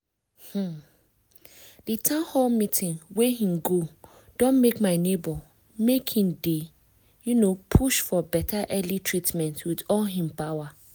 um di town hall meeting wey hin go don make my neighbor make hin dey um push for beta early treatment with all hin power.